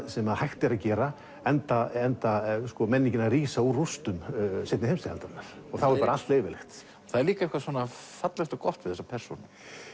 sem að hægt er að gera enda enda menningin að rísa úr rústum seinni heimsstyrjaldarinnar þá er bara allt leyfilegt það er líka eitthvað fallegt og gott við þessa persónu